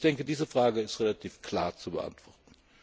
Also ich denke, diese Frage ist relativ klar zu beantworten.